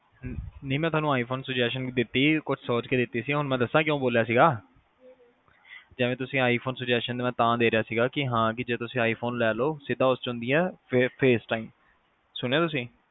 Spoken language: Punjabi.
ਨਹੀ ਮੈ ਤੁਹਾਨੂੰ iphone suggestion ਦਿੱਤੀ ਕੁਝ ਸੋਚ ਕਿ ਦਿੱਤੀ ਹੁਣ ਮੈ ਦਸਾ ਕਿਉ ਬੋਲਿਆ ਸੀਗਾ ਜਿਵੇ ਤੁਸੀ iphone suggestion ਤਾ ਦੇ ਰਿਹਾ ਸੀਗਾ ਕੀ ਹਾ ਕੇ ਜੇ ਤੁਸੀ iphone ਲੈ ਲਵੋ ਸਿੱਧਾ ਉਸ ਵਿੱਚ ਹੁੰਦੀ face time ਸੁਣਿਆ ਤੁਸੀ